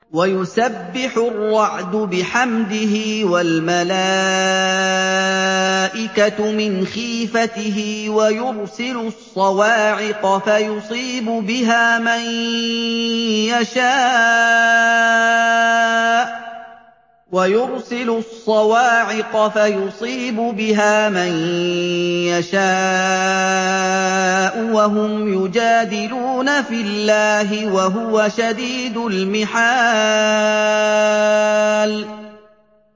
وَيُسَبِّحُ الرَّعْدُ بِحَمْدِهِ وَالْمَلَائِكَةُ مِنْ خِيفَتِهِ وَيُرْسِلُ الصَّوَاعِقَ فَيُصِيبُ بِهَا مَن يَشَاءُ وَهُمْ يُجَادِلُونَ فِي اللَّهِ وَهُوَ شَدِيدُ الْمِحَالِ